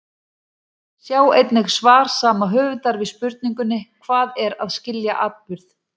Sjá einnig svar sama höfundar við spurningunni Hvað er að skilja atburð?